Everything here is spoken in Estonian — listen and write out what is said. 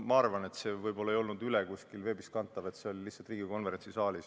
Ma arvan, et seda ei kantud kusagil veebis üle, see toimus lihtsalt Riigikogu konverentsisaalis.